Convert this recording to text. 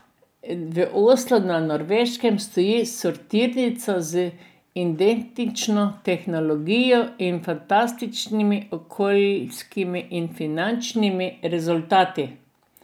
V Oslu na Norveškem stoji sortirnica z identično tehnologijo in fantastičnimi okoljskimi in finančnimi rezultati.